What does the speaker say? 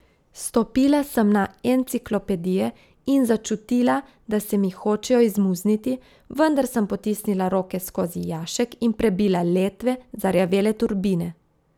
Stopila sem na enciklopedije in začutila, da se mi hočejo izmuzniti, vendar sem potisnila roke skozi jašek in prebila letve zarjavele turbine.